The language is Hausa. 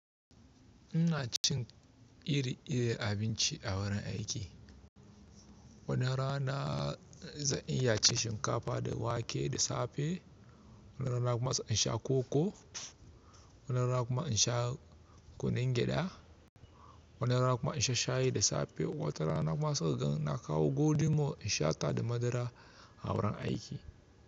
Ina cin iri-irin abinci a wurin aiki. Wani rana zan iya cin shinkafa da wake da safe, wani rana kuma zan sha koko, wani rana kuma in sha kunun gyaɗa, wani rana kuma in sha shayi da safe. Wata rana kuma sai ka gan na kawo golden in sha ta da madara a wurin aiki.